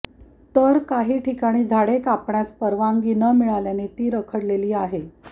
तर काही ठिकाणी झाडे कापण्यास परवानगी न मिळाल्याने ती रखडलेली आहे